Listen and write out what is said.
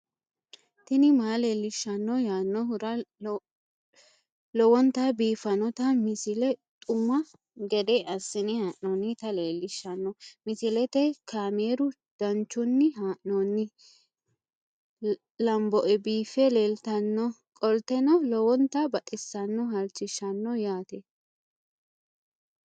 tini maa leelishshanno yaannohura lowonta biiffanota misile xuma gede assine haa'noonnita leellishshanno misileeti kaameru danchunni haa'noonni lamboe biiffe leeeltannoqolten lowonta baxissannoe halchishshanno yaate